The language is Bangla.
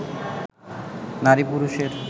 নারী-পুরুষের